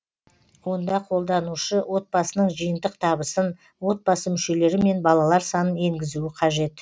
онда қолданушы отбасының жиынтық табысын отбасы мүшелері мен балалар санын енгізуі қажет